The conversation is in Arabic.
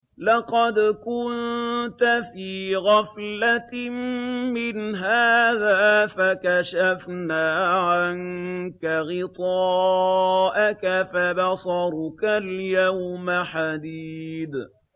لَّقَدْ كُنتَ فِي غَفْلَةٍ مِّنْ هَٰذَا فَكَشَفْنَا عَنكَ غِطَاءَكَ فَبَصَرُكَ الْيَوْمَ حَدِيدٌ